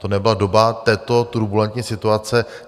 To nebyla doba této turbulentní situace.